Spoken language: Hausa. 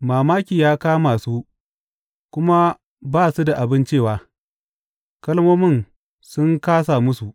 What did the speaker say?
Mamaki ya kama su kuma ba su da abin cewa; kalmomi sun kāsa musu.